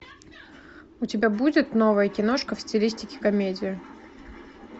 у тебя будет новая киношка в стилистике комедия